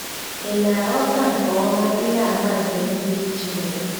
Ị̀ na-aghọta nke ọma ihe àmà nke nduzi Chineke?